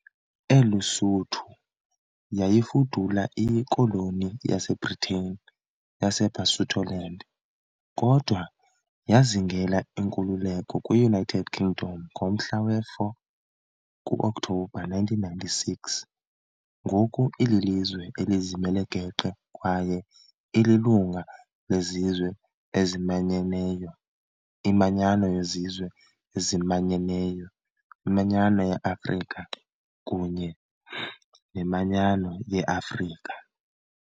ELuSuthu yayifudula iyiKoloni yaseBhritane yaseBasutoland, kodwa yazingela inkululeko kwi-United Kingdom ngomhla we-4 ku-Okthobha 1966. Ngoku ililizwe elizimele geqe kwaye ililunga leZizwe eziManyeneyo, iManyano yeZizwe eziManyeneyo, iManyano yeAfrika, kunye neManyano yeAfrika.